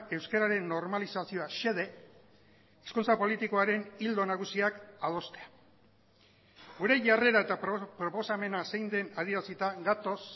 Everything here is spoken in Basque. euskararen normalizazioa xede hezkuntza politikoaren ildo nagusiak adostea gure jarrera eta proposamena zein den adierazita gatoz